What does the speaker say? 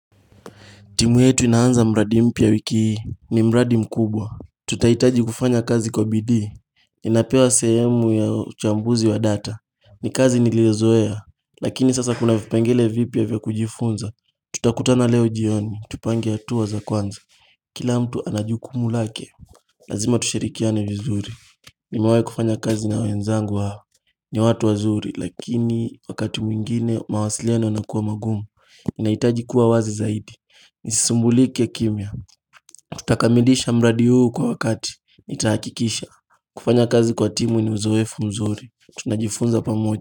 Timu yetu inaanza mradi mpya wiki hii ni mradi mkubwa Tutaitaji kufanya kazi kwa bidii Ninapewa sehemu ya uchambuzi wa data ni kazi niliozoea Lakini sasa kuna vipengele vipya vya kujifunza Tutakutana leo jioni, tupange hatua za kwanza Kila mtu ana jukumu lake Lazima tushirikiane vizuri Nimewai kufanya kazi na wenzangu hawa ni watu wazuri lakini wakati mwingine mawasiliano yanakua magumu naitaji kuwa wazi zaidi Nisisumbulike kimya tutakamilisha mradi huu kwa wakati nitakikisha kufanya kazi kwa timu ni uzoefu mzuri Tunajifunza pamoja.